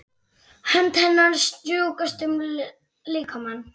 Hönd hennar strjúkast um líkamann.